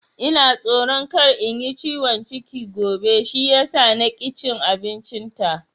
Ina tsoro kar in yi ciwon ciki gobe shi yasa na ki cin abincin ta